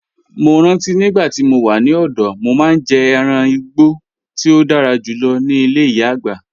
Mo ranti nigbati mo wa ni ọdọ, mo maa n jẹ ẹran igbo ti o dara julọ ni ile iya-agba